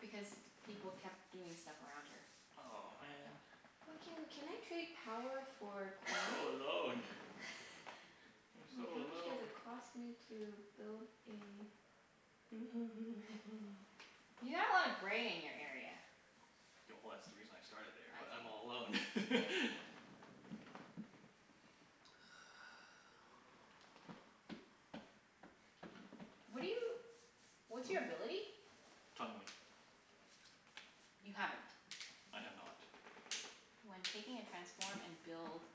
Because people kept doing stuff around her. Oh, man. Why can, can I trade power for I'm so coin? alone. I'm so Wait, how much does alone. it cost me to build a You have a lotta gray in your area. Yeah, well that's the reason I started there, I but see. I'm all alone. What are you, what's Hmm? your ability? Tunneling. You haven't? I have not. When taking a transform and build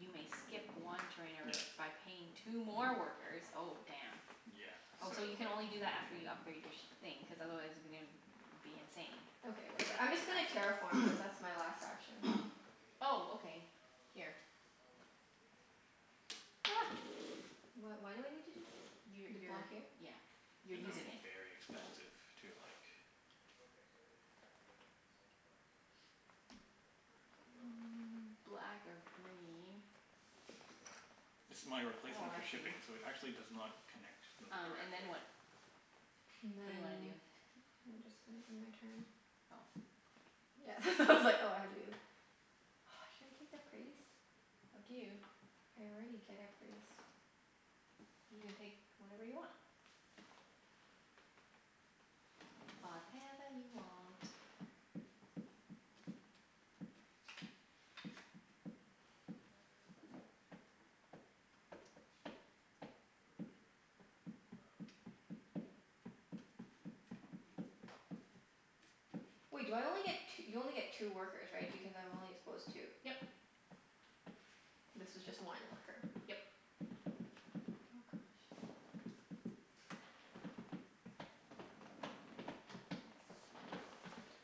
you may skip one trainer Yeah. by paying two more workers. Oh, damn. Yeah, Oh, so so you like can only do that after you upgrade your sh- thing, cuz otherwise you're gonna be insane. Okay, whatever. I'm I just gonna see. terraform cuz that's my last action. Oh, okay. Here. Wh- why do I need to do this? You To block you're, here? yeah, you're It's Okay. gonna be using it. very expensive to like Black or green. This is my Oh, replacement for I see. shipping so it actually does not connect n- Um and then directly. what? And What do you wanna then do? I'm just gonna do my turn. Oh, okay. Yeah it's all I had to do. Should I take the priest? Up to you. I already get a priest. You can take whatever you want. Whatever you want. Wait do I only get t- you only get two workers, right? Because I've only exposed two. Yep. This was just one worker. Yep. Oh gosh.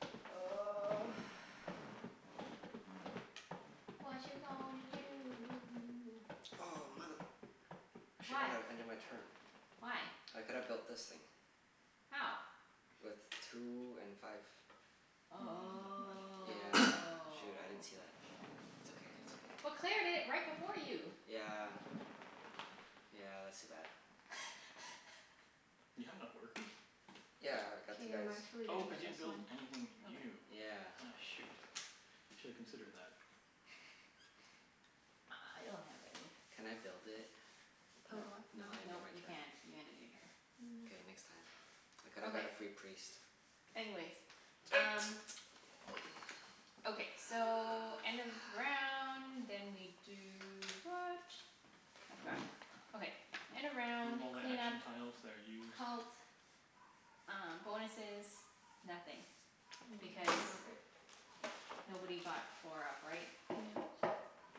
Watcha gonna do? Oh, mother, I should not have ended my turn. Why? Why? I could've built this thing. How? With two and five. He didn't have Oh. enough But Yeah. money. Claire Shoot. I didn't see that. did It's it okay. It's okay. right before you. Yeah. Yeah, that's too bad. You have enough workers? Yeah, I got K, two I'm guys. actually Oh, gonna cuz get you didn't this build one. anything new. Okay. Yeah. Aw shoot, you shoulda considered that. I I I don't have any. Can I build it? Build Nope. what? No, No. I ended Nope, my you turn. can't. You ended your turn. K, No. next time. I coulda got Okay. a free priest. Anyways, um Okay, so end of round, then we do what? I've forgotten. Okay, end of Remove round all the clean up action tiles that are used Cult, uh bonuses, nothing. Mm yeah, I think Because we're good. nobody got four up, right? Yeah.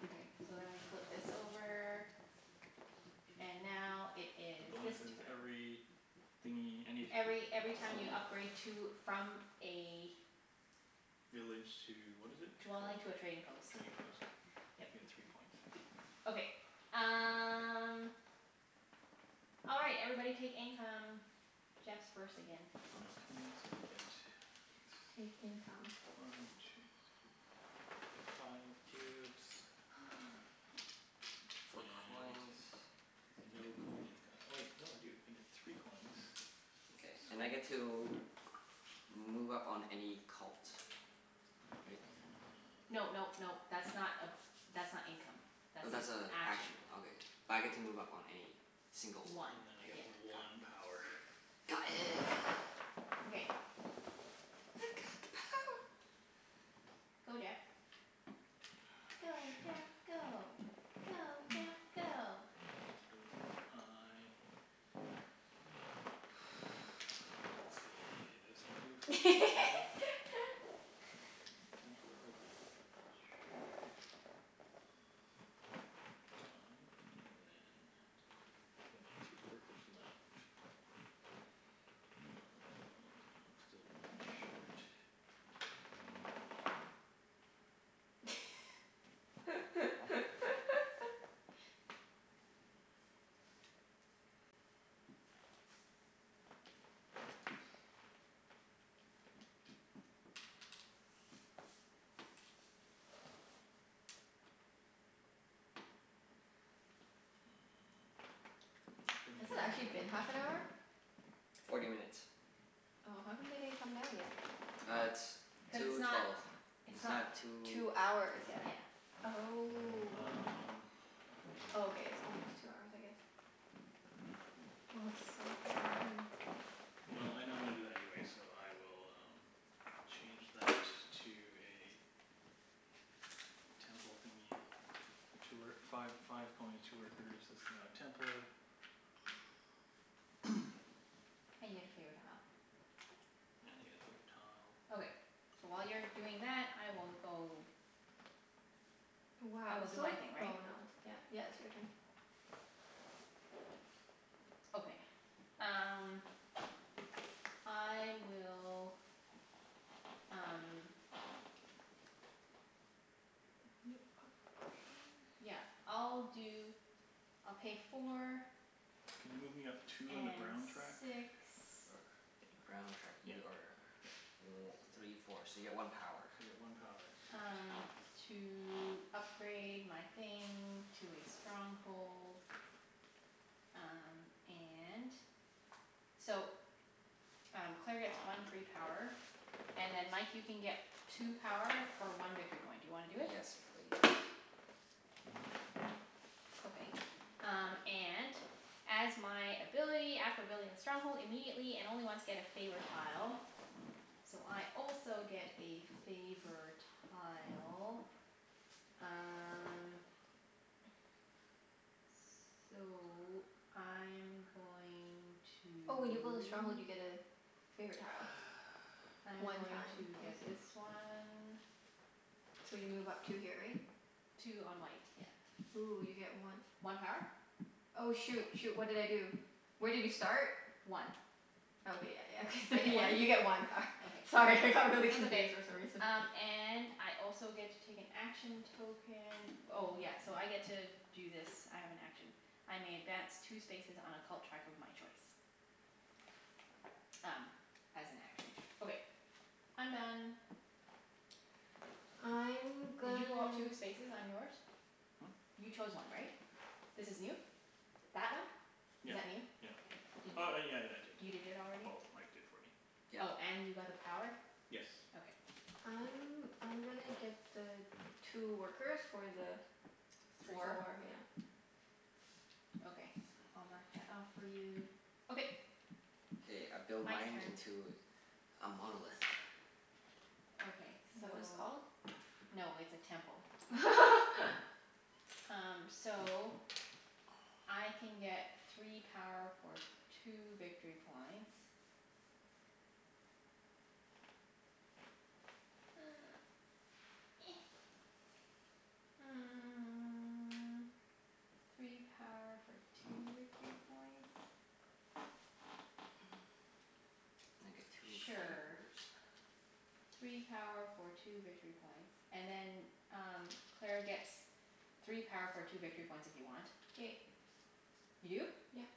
Okay, so then we flip this over. And now it The is this bonus is turn every thingie, Every any every time you city? upgrade to, from a Village to, what is it Dwelling called? to a trading post. Trading post. You Yep. get three points. Okay. Um All right. Everybody take income. Jeff's first again. Okay, so I get t- Take income. one two three, I get five cubes. Four And coins. no coin income. Oh wait, no I do. I get three coins. Okay. And I get Sweet. to move up on any cult. Great. No nope nope. That's not a, that's not income. Oh, That's an that's a action. action. Okay. But I get to move up on any single one, One, And then I right? yeah. get Got it. one power. Got it. Okay. I've got the power. Go Jeff. Go Ah, Jeff go. Go shoot. Jeff If go. I let's see. This can do first patrol. Temple would be that much. Five and then I got three workers left. Um I'm still one short. Mm, I'm not gonna Has it gi- actually been half an hour? Forty minutes. Oh. How come they didn't come down yet? Ah, it's two Cuz twelve. it's It's not not, two Two it's hours not, yet. yeah. Oh. Um Oh, okay. It's almost two hours I guess. Oh, it's so hot in here. Well, I know I'm gonna do that anyways, so I will um change that to a temple thingie. Two wor- five five coins, two workers. This is now a temple. And you get a favor tile. And I get a favor tile. Okay. So while you're doing that, I will go I Wow, will it's do so my like, thing, right? oh not, yeah, yeah. It's your turn. Okay. Um I will, um yeah, I'll When you do, upgrade I'll pay four Can you move me up two on the brown track? and six Or or Brown track. yeah. Yeah You are yeah. o- three four. So you get one power. So you get one power. Sweet. um to upgrade my thing to a stronghold. Um and so um Claire gets one free power. And then Mike, you can get two power for one victory point. Do you wanna do it? Yes please. Okay. Um and as my ability after building a stronghold immediately, and only once, get a favor tile. So I also get a favor tile. Um So I'm going to Oh, when you build a stronghold you get a favorite tile. I'm One going time. I to see. get this one. So you move up two here, right? Two on white, Ooh, you get yeah. one One power? Oh, shoot, shoot. What did I do? Where did you start? One. I Oh okay, yeah, yeah. Okay get thr- one? yeah, you get one power. Okay. Sorry, I got really confused for some reason. Um and I also get to take an action token. Oh yes, so I get to do this. I have an action. I may advance two spaces on a cult track of my choice. Um as an action. Okay, I'm done. I'm Did you gonna go up two spaces on yours? Hmm? You chose one, right? This is new? That one? Yeah Is that yeah. new? Did Oh oh y- yeah, I you did. did it already? Well, Mike did for me. Yep. Oh, and you got Yes. the power? Okay. I'm I'm gonna get the two workers for the Three. four, yeah. Four? Okay. I'll mark that off for you. Okay. K, I build Mike's mine turn. into a monolith. Okay, Is that what it's so called? no, it's a temple. Um so I can get three power for two victory points. Three power for two victory points? And I get two favors. Sure. Three power for two victory points. And then um Claire gets three power for two victory points if you want. K. You do? Yep.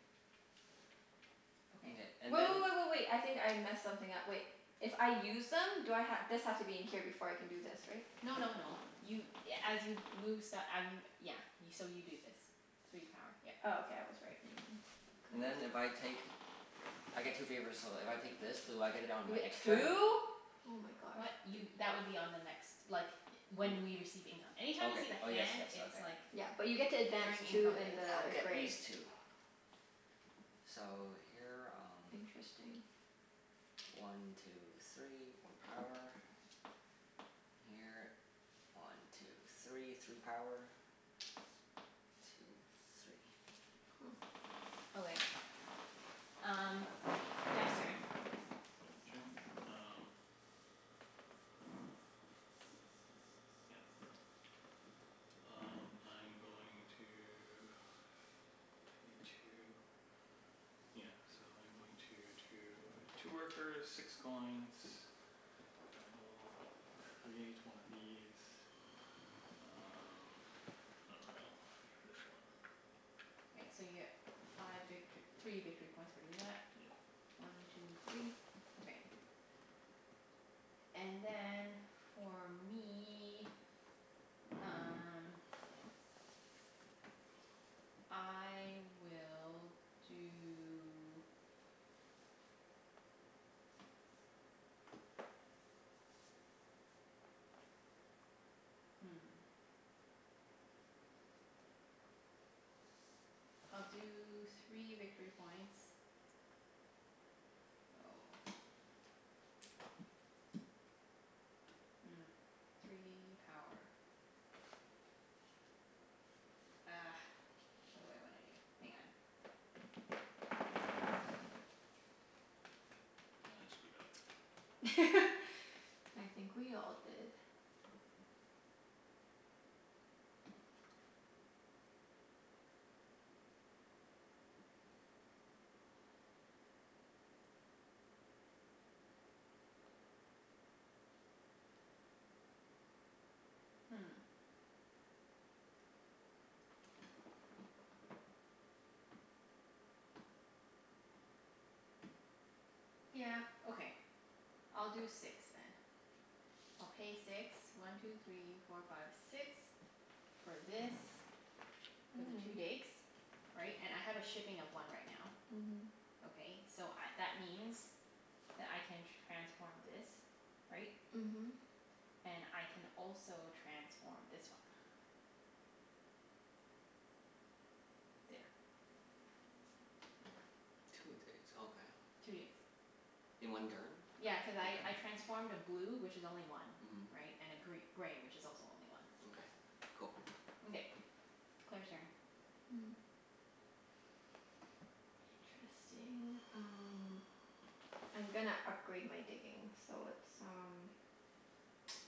Mkay, Okay. and Wait, then wait, wait, wait, wait. I think I messed something up. Wait. If I use them do I ha- this has to be in here before I can do this, right? No no no, you a- as you move st- I mean, yeah. So you do this. Three power. Yep. Oh, okay, I was right. Never mind. And then if I take, I get two favors, so if I take this do I get it on You my get next turn? two? Oh my gosh. What? D- Y- that would be on the next, like, W- when we receive income. Okay. Anytime you see the Oh yes, hand yes. it's Okay. like Yeah, but you get to advance during Mkay. income two in phase. I'll the get gray. these two. So, here um Interesting. One two three. One power. Here. One two three. Three power. Two three. Huh. Okay. Um Jeff's turn. My turn? Um Yeah, okay. Um I'm going to Pay two, yeah. So I'm going to two Two workers, six coins. And we'll create one of these. Um I dunno. This one. So you get five victor- three victory points for doing that. Yeah. One two three. Okay. And then, for me um I will do Hmm. I'll do three victory points. Oh. Hmm, three power. Ah, what do I wanna do? Hang on. I screwed up. I think we all did. Hmm. Yeah, okay. I'll do six then. I'll pay six. One two three four five six. For this. For the two Mm. digs. Right? And I have a shipping of one right now. Mhm. Okay, so I, that means that I can transform this, right? And Mhm. I can also transform this one. There. Two digs. Okay. Two digs. In one turn? Yeah, cuz I I Okay. transformed a blue, which is only one. Mhm. Right? And a gr- gray, which is also only one. Mkay. Cool. Mkay. Claire's turn. Hmm. Interesting. Um I'm gonna upgrade my digging so it's um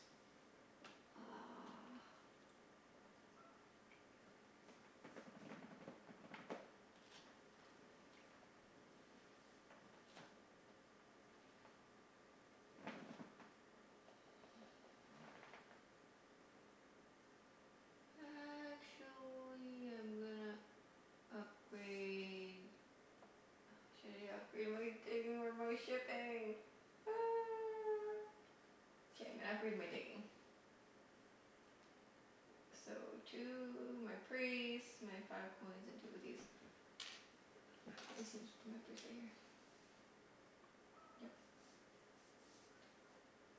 uh Actually I'm gonna upgrade Uh, should I upgrade my digging or my shipping? K, I'm gonna upgrade my digging. So two, my priest, my five coins, and two of these. Yep.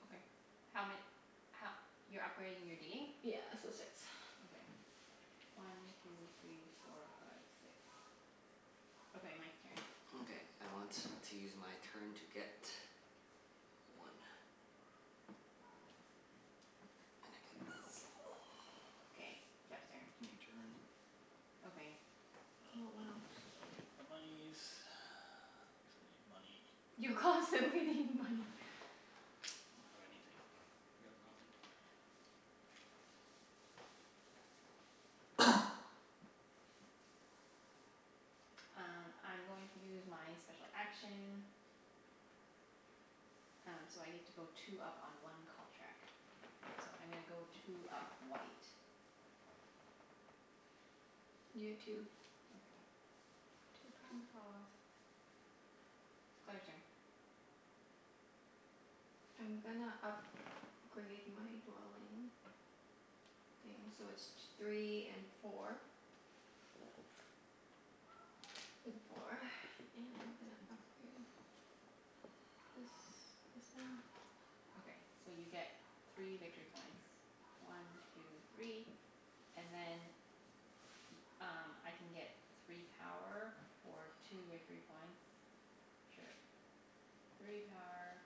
Okay. How ma- ho- You're upgrading your digging? Yeah, so six. Okay. One two three four five six. Okay, Mike's turn. Mkay. I want to use my turn to get one. And I get this. Okay, Jeff's turn. Ending turn. Okay. Oh, wow. I'll get the monies cuz I need money. You constantly need money. I don't have anything. I got nothin'. Um I'm going to use my special action. Um so I get to go two up on one cult track. So I'm gonna go two up white. You get two. Okay. Two power. Two power. Claire's turn. I'm gonna up grade my dwelling thing, so it's t- three and four. Four and I'm gonna upgrade this this one. Okay, so you get three Two victory three. points. One two three, and then Y- um I can get three power for two victory points. Or Sure. a church. Three power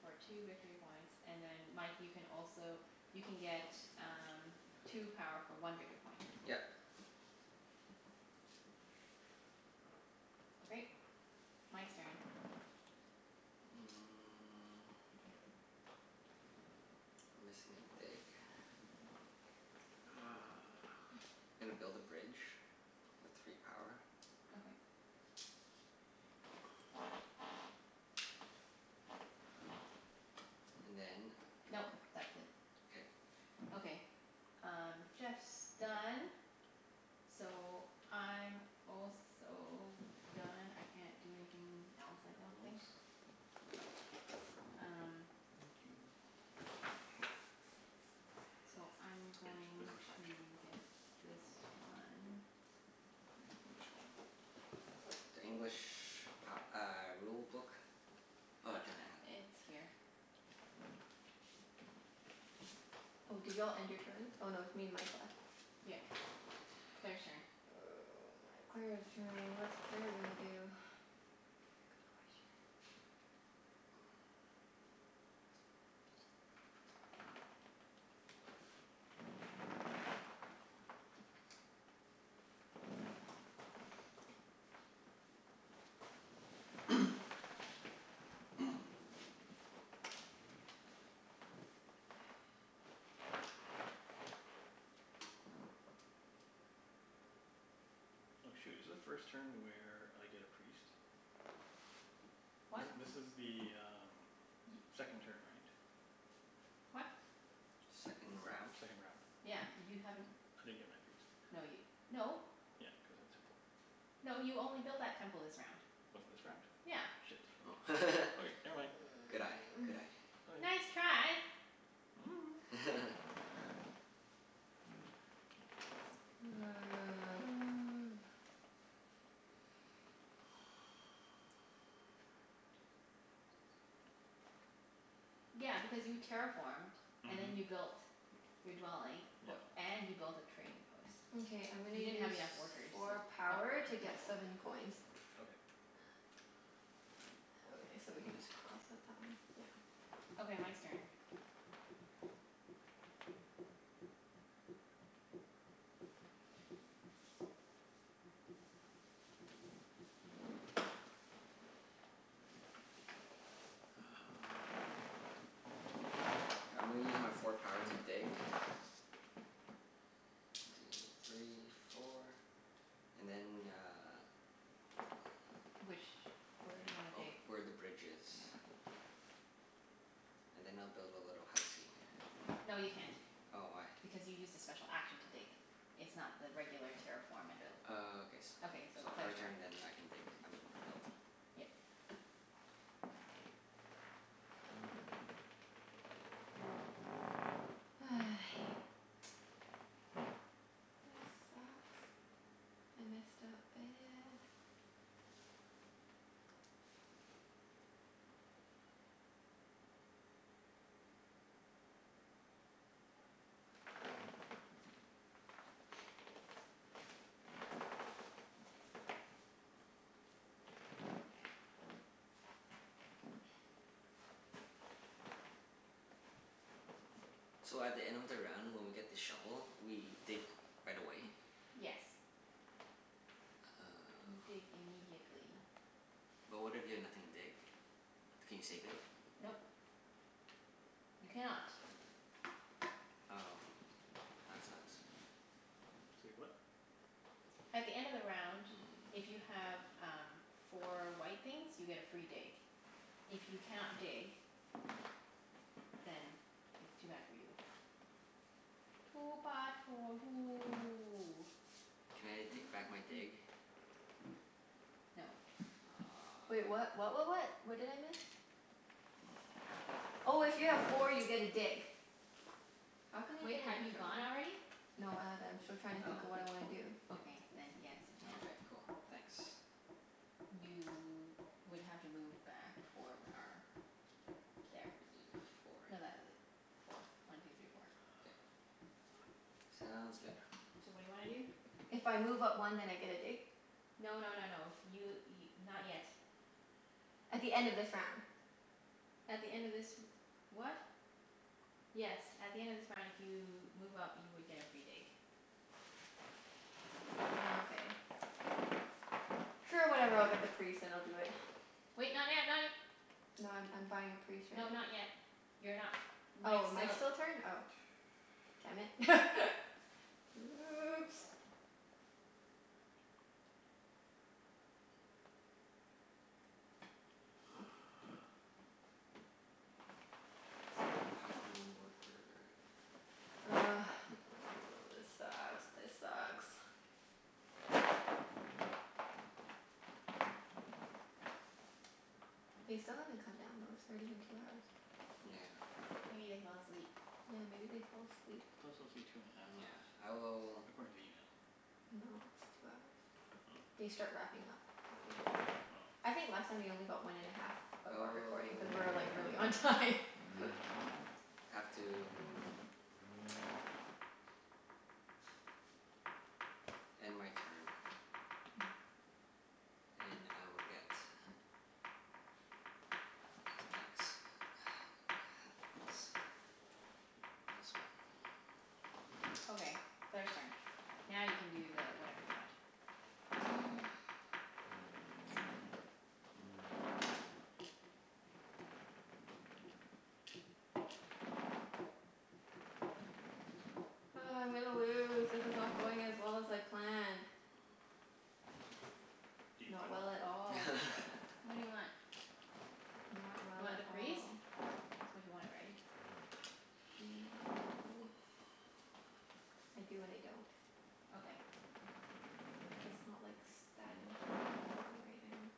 for two victory points, and then Mike you can also you can get um two power for one victory point. Yep. Okay, Mike's turn. Mm. I'm missing a dig. Uh gonna build a bridge. With three power. Okay. And then Nope, that's it. K. Okay. Um Jeff's done. So I'm also done. I can't do anything else, Their I don't rules. think. Um Thank you. So I'm Hey, this is going the French one. to get this one. Where's the English one? The English p- uh rulebook? Oh, Junette has it. Uh it's here. Oh, did you all end your turn? Oh no, it's me and Mike left. Yep. Claire's turn. Oh my, Claire's turn. What is Claire gonna do? T- good question. Oh shoot, is the first turn where I get a priest? What? This this is the um second turn, right? What? Second round? Second round. Yeah, you haven't, I didn't get my priest. no y- no. Yeah, cuz I have a temple. No, you only built that temple this round. Was it this round? Yeah. Shit. Oh. Okay. Okay, never mind. Good eye. Good eye. Okay. Nice try. Five. One two three four five six seven eight. Yeah, because you terraformed and Mhm. then you built your dwelling, o- Yep. and you built a trading post. Mkay, I'm gonna You didn't use have enough workers to four power upgrade to to a get temple. seven coins. Okay. Okay, so we can just cross out that one. Yeah. Okay, Mike's turn. Uh I'm gonna use my four power to dig. One two three four. And then uh Which, where do you wanna Ov- dig? where the bridge is. And then I'll build a little housey. No, you can't, Oh, why? because you used a special action to dig. It's not the regular terraform and build. Oh, okay s- Okay, so so her Claire's turn turn. and then I can dig. I mean build. Yep. This sucks. I messed up bad. So at the end of the round when we get the shovel, we dig right away? Yes, you dig Oh. immediately. But what if you have nothing to dig? Can you save it? Nope. You cannot. Oh, that sucks. Say what? At the end of the round, if you Mm. have um four white things you get a free dig. If you cannot dig then it's too bad for you. Too bad for you. Can I take back my dig? No. Wait, Oh. what what what what? What did I miss? Oh, if you have four you get a dig. How can I Wait, get an have you extra one? gone already? No, I haven't. I'm still trying to think of what I wanna do. Oh, okay, then yes, you Oh, can. okay. Cool. Thanks. You would have to move back four Four. power. There. Y- four. No, th- four. One two three four. K. Sounds good. So what do you wanna do? If I move up one then I get a dig? No no no no. You y- not yet. At the end of this round. At the end of this r- what? Yes, at the end of this round if you move up you would get a free dig. Nokay. Sure, whatever. I'll get the priest and I'll do it. Wait, not yet, not y- No, I'm I'm buying a priest right No, not now. yet. You're not, Mike's Oh, Mike's still still turn? Oh. Damn it. Oops. Uh Three power one worker. Ugh, this sucks. This sucks. They still haven't come down, though. It's already been two hours. Yeah. Maybe they fell asleep? Yeah, maybe they fell asleep. It could also take two and a half hours, Yeah. I will according to the email. No, it's two hours. Oh. They start wrapping up after two hours. Oh. I think last time they only got one and a half of our recording cuz we were like really on Oh. time. Oh. Have to End my turn. And I will get Thanks. This one. Okay, Claire's turn. Now you can do the whatever you want. Ugh, I'm gonna lose. This is not going as well as I planned. Do you Not plan well? well at all. What do you want? Not You well want at the priest? all. That's what you wanted, right? Not really. I do and I don't. Okay. It's not like s- that important that I do it right now.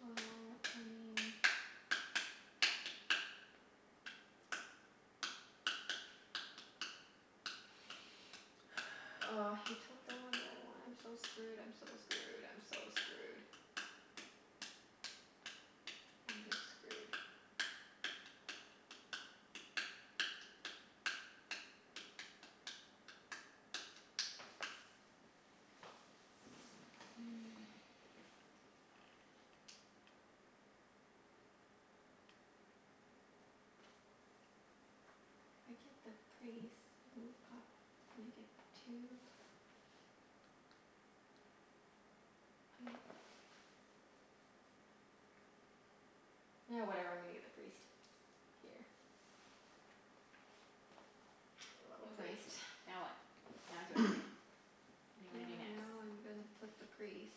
Well, I mean Oh, he took the one that I wanted. I'm so screwed, I'm so screwed, I'm so screwed. I'm just screwed. If I get the priest and move up, then I get two I Ah, whatever, I'm gonna get the priest. Here. A little Okay, priest. now what? Now it's your turn. What do you wanna do Yeah, next? now I'm gonna put the priest